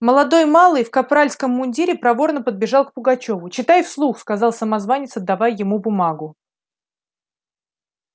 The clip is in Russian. молодой малый в капральском мундире проворно подбежал к пугачёву читай вслух сказал самозванец отдавая ему бумагу